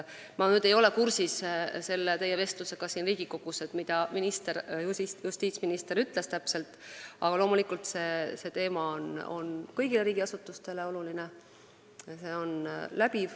Ma ei ole küll kursis teie vestlusega siin Riigikogus ega tea, mida justiitsminister täpselt ütles, aga loomulikult on see teema kõigile riigiasutustele oluline.